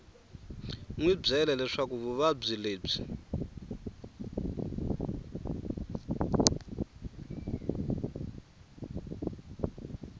wi byele leswaku vuvabyi lebyi